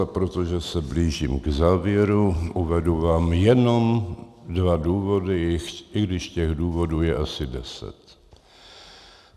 A protože se blížím k závěru, uvedu vám jenom dva důvody, i když těch důvodů je asi deset.